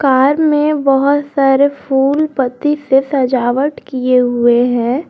Car में बहुत सारे फूल पत्ती से सजावट किए हुए हैं।